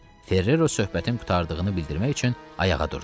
Ferrero söhbətin qurtardığını bildirmək üçün ayağa durdu.